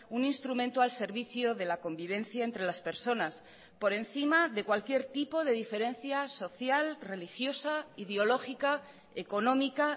un instrumento al servicio de la convivencia entre las personas por encima de cualquier tipo de diferencia social religiosa ideológica económica